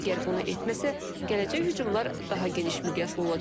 Əgər bunu etməsə, gələcək hücumlar daha geniş miqyaslı olacaq.